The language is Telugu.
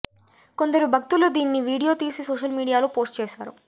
కొందరు భక్తులు దీన్ని వీడియో తీసి సోషల్ మీడియాలో పోస్ట్ చేశారు